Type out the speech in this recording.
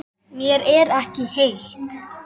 Mér er ekki heitt.